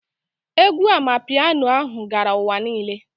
Egwu Amanpiano ahụ gara ụwa niile